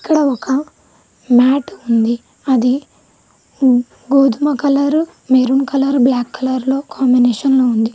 ఇక్కడ ఒక మ్యాట్ ఉంది అది గోధుమ కలరు మెరూన్ కలర్ బ్లాక్ కలర్లో కాంబినేషన్ లో ఉంది.